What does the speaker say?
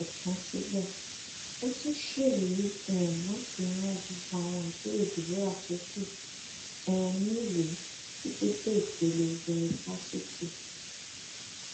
kò tán síbẹ ó tún ṣèlérí um láti ran gbogbo àwọn àbúrò deborah tó kù um níwèé títí dé ìpele yunifásitì